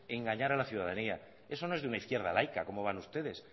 engañar a la ciudadanía eso no es de un izquierda laica como van ustedes